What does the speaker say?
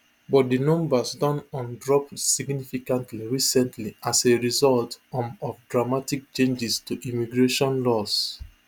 but dinumbers don um drop significantly recently as a result um of dramatic changes to immigration laws